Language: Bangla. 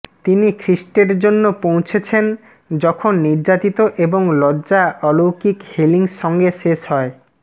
তিনি খ্রীষ্টের জন্য পৌঁছেছেন যখন নির্যাতিত এবং লজ্জা অলৌকিক হিলিং সঙ্গে শেষ হয়